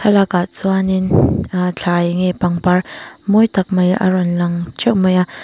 chuanin thlai nge pangpar mawi tak mai a rawn lang theuh mai a.